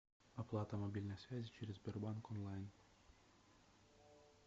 оплата мобильной связи через сбербанк онлайн